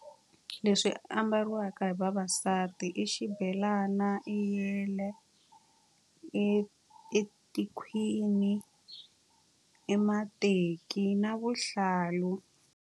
Leswi ambariwaka hi vavasati i xibelana, i yele, i i tikhwini, i mateki na vuhlalu.